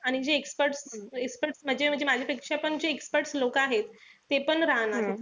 आणि जी expert expert म्हणजे माझ्यापेक्षा पण जे expert लोकं आहेत. तेपण राहणार.